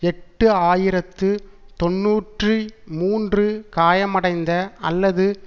எட்டு ஆயிரத்து தொன்னூற்றி மூன்று காயமடைந்த அல்லது